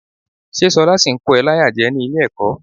Ṣé ṣọlá ṣì ń kó ẹ láyà jẹ ní ilé-ẹ̀kọ́?